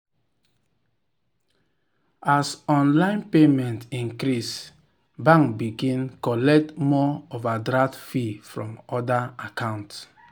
as online payment increase bank begin collect more overdraft fee from people account.